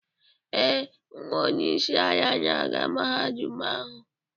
Ee, nwa onye isi ala na-aga Mahadum ahụ.